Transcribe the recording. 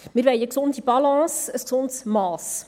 Wir wollen eine gesunde Balance, ein gesundes Mass.